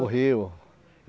No rio.